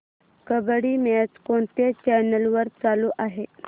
kabaddi match कोणत्या channel वर चालू आहे